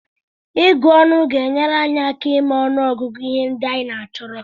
Ịgụ ọnụ ga-enyere anyị aka ịma ọnụọgụgụ ihe ndị anyị chọrọ.